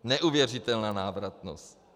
Neuvěřitelná návratnost.